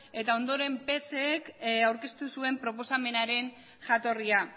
eta ondoren psek aurkeztu zuen proposamenaren jatorria